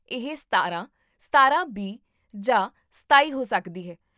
ਇਹ ਸਤਾਰਾਂ , ਸਤਾਰਾਂ ਬੀ ਜਾਂ ਸਤਾਈ ਹੋ ਸਕਦੀ ਹੈ